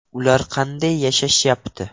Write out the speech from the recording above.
Ular qanday yashashyapti?